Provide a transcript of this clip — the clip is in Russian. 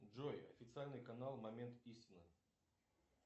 джой официальный канал момент истины